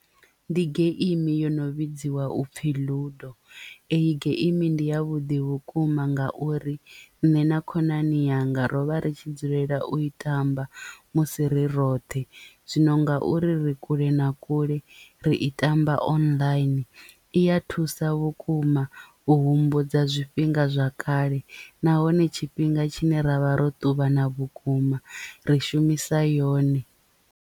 Ndi geimi yo no vhidziwa u pfi ludo eyi geimi ndi ya vhuḓi vhukuma nga uri nṋe na khonani yanga rovha ri tshi dzulela u i tamba musi ri roṱhe zwino nga uri ri kule na kule ri i tamba online iya thusa vhukuma u humbudza zwifhinga zwa kale nahone tshifhinga tshine ra vha ro ṱuvhana vhukuma ri shumisa yone.